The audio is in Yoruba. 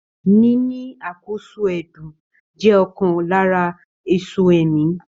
Níní àkóso ẹdun jẹ ọkan lára èso ẹ̀mí.